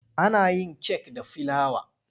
Ana yin kek da filawa.